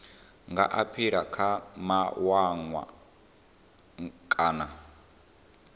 nga aphila kha mawanwa kana